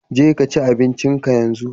Je kaci abincin ka yanzu!